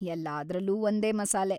ಎಲ್ಲಾದ್ರಲ್ಲೂ ಒಂದೇ ಮಸಾಲೆ.